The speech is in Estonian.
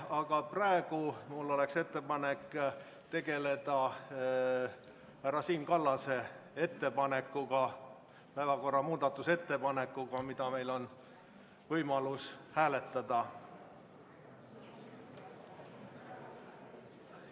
Aga praegu mul on ettepanek tegeleda härra Siim Kallase ettepanekuga, päevakorra muutmise ettepanekuga, mida meil on võimalus hääletada.